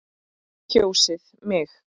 Kjósið mig.